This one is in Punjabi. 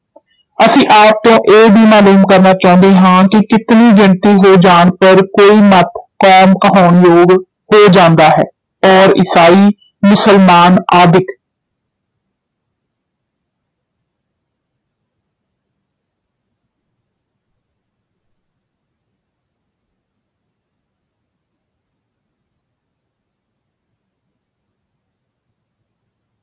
ਅਸੀਂ ਆਪ ਤੋਂ ਇਹ ਵੀ ਮਾਲੂਮ ਕਰਨਾ ਚਾਹੁੰਦੇ ਹਾਂ ਕਿ ਕਿਤਨੀ ਗਿਣਤੀ ਹੋ ਜਾਣ ਪਰ ਕੋਈ ਮਤ ਕੌਮ ਕਹਾਉਣ ਯੋਗ ਹੋ ਜਾਂਦਾ ਹੈ, ਔਰ ਈਸਾਈ, ਮੁਸਲਮਾਨ ਆਦਿਕ